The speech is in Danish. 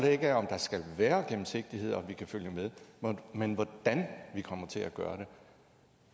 er ikke om der skal være gennemsigtighed og vi kan følge med men hvordan vi kommer til at gøre det